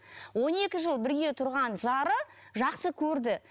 он екі жыл бірге тұрған жары жақсы көрді